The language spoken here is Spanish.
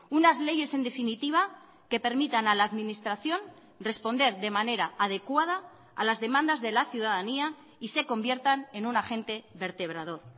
unas leyes en definitiva que permitan a la administración responder de manera adecuada a las demandas de la ciudadanía y se conviertan en un agente vertebrador